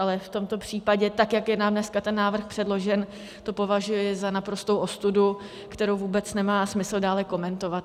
Ale v tomto případě, tak, jak je nám dneska ten návrh předložen, to považuji za naprostou ostudu, kterou vůbec nemá smysl dále komentovat.